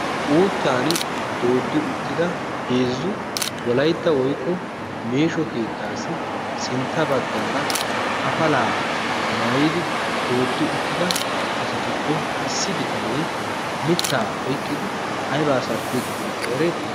Uuttan dooddi uttida heezzu wolaytta woiqqo meesho keettaassi sintta baggaara afalaa maayidi dooddi uttida asatuppe issi bitanee mittaa oiqqidi aibaa sarbbiidi diyaakko ereetii?